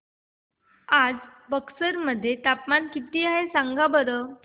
आज बक्सर मध्ये तापमान किती आहे सांगा बरं